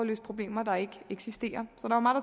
løse problemer der ikke eksisterer